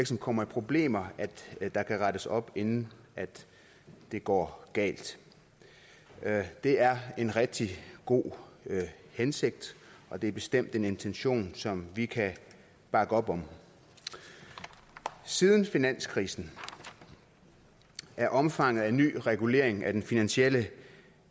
som kommer i problemer kan rettes op inden det går galt det er en rigtig god hensigt og det er bestemt en intention som vi kan bakke op om siden finanskrisen er omfanget af ny regulering af den finansielle